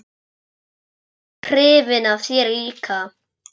Ég er hrifin af þér líka.